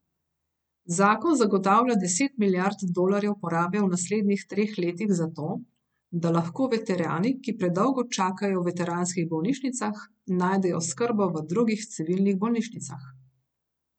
Zakon zagotavlja deset milijard dolarjev porabe v naslednjih treh letih za to, da lahko veterani, ki predolgo čakajo v veteranskih bolnišnicah, najdejo oskrbo v drugih civilnih bolnišnicah.